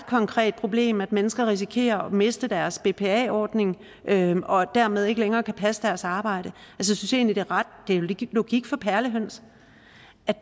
konkret problem at mennesker risikerer at miste deres bpa ordning og dermed ikke længere kan passe deres arbejde det er logik for perlehøns